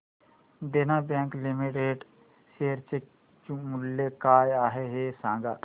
देना bank limited share चे मूल्य काय आहे हे सांगा